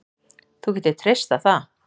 Þú getur treyst á það